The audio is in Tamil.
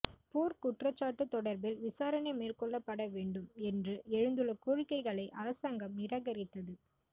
போர்க்குற்றச்சாட்டு தொடர்பில் விசாரணை மேற்கொள்ளப்பட வேண்டும் என்று எழுந்துள்ள கோரிக்கைகளை அரசாங்கம் நிராகரித்தது